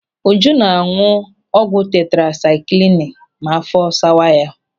Uju ná-áñụ̀ ọgwụ tetrasakilini ma áfọ́ sawa ya.